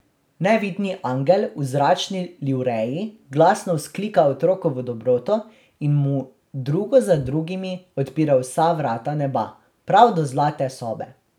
Nevidni angel v zračni livreji glasno vzklika otrokovo dobroto in mu drugo za drugimi odpira vsa vrata neba, prav do zlate sobe.